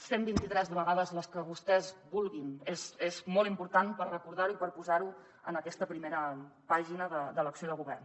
cent vint i tres vegades i les que vostès vulguin és molt important per recordar ho i per posar ho en aquesta primera pàgina de l’acció de govern